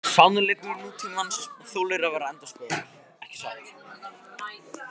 Sannleikur nútímans þolir að vera endurskoðaður, ekki satt?